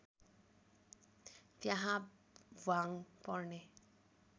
त्यहाँ भ्वाङ पर्ने